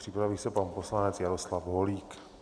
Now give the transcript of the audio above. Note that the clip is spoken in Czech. Připraví se pan poslanec Jaroslav Holík.